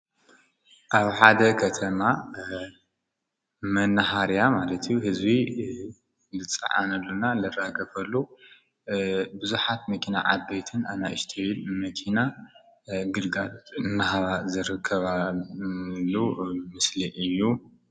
ኣብ ሓደ ከተማ መናሃርያ ማለት ህዝቢ ልፀዓንሉና ልራገፍሉ ብዙሓት መኪና ዓበይትን ኣናእሽቲ መኪና ግድጋድ እናሃባ ዝረከባሉ ምስሊ እዩ፡፡